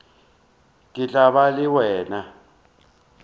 ke tla ba le wena